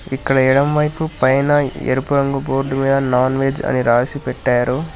ఇక్కడ ఎడమవైపు పైన ఎరుపు రంగు బోర్డు మీద నాన్ వెజ్ అని రాసి పెట్టారు.